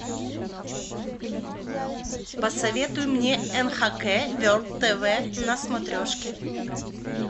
посоветуй мне нхк ворлд тв на смотрешке